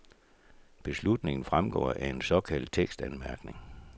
Beslutningen fremgår af en såkaldt tekstanmærkning.